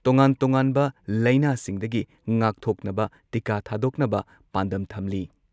ꯇꯣꯉꯥꯟ ꯇꯣꯉꯥꯟꯕ ꯂꯩꯅꯥꯁꯤꯡꯗꯒꯤ ꯉꯥꯛꯊꯣꯛꯅꯕ ꯇꯤꯀꯥ ꯊꯥꯗꯣꯛꯅꯕ ꯄꯥꯟꯗꯝ ꯊꯝꯂꯤ ꯫